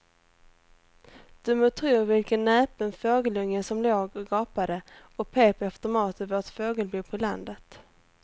Du må tro vilken näpen fågelunge som låg och gapade och pep efter mat i vårt fågelbo på landet.